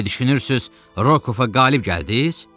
Elə düşünürsüz Rokova qalib gəldiz?